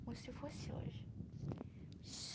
como se fosse hoje.